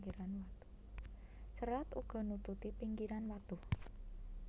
Cerat uga nututi pinggiran watu